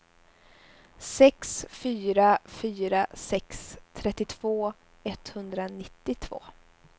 sex fyra fyra sex trettiotvå etthundranittiotvå